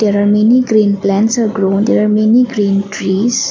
there are many green plants are grown there are many green trees.